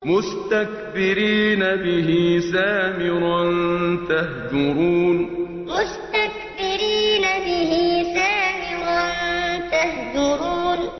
مُسْتَكْبِرِينَ بِهِ سَامِرًا تَهْجُرُونَ مُسْتَكْبِرِينَ بِهِ سَامِرًا تَهْجُرُونَ